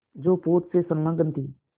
जो पोत से संलग्न थी